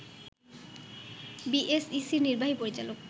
বিএসইসির নির্বাহী পরিচালক